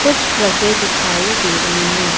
कुछ ट्रके दिखाई दे रही हैं।